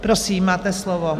Prosím, máte slovo.